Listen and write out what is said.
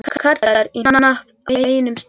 Karlar í hnapp á einum stað.